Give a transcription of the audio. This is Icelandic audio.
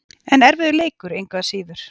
En erfiður leikur, engu að síður.